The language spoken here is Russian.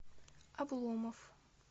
обломов